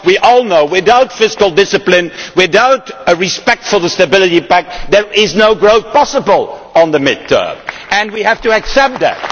Because we all know that without fiscal discipline, without respect for the Stability Pact, there is no growth possible in the medium term and we have to accept that.